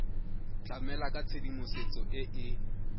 tlamela ka tshedimosetso e e